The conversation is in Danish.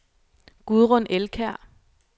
Gudrun Elkjær